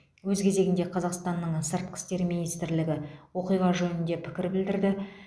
өз кезегінде қазақстанның сыртқы істер министрлігі оқиға жөнінде пікір білдірді